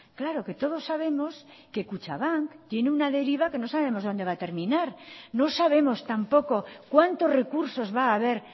claro que todos sabemos que kutxabank tiene una deriva que no sabemos donde va a terminar no sabemos tampoco cuántos recursos va a haber